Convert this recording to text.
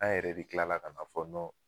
An yɛrɛ de kilala ka na fɔ